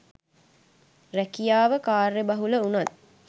රැකියාව කාර්යබහුල වුණත්